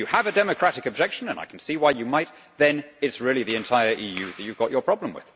If you have a democratic objection and I can see why you might then it is really the entire EU you have your problem with.